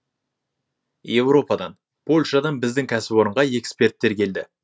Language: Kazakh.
европадан польшадан біздің кәсіпорынға эксперттер келді